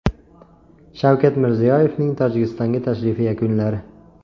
Shavkat Mirziyoyevning Tojikistonga tashrifi yakunlari.